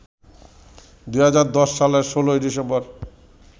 ২০১০ সালের ১৬ই ডিসেম্বর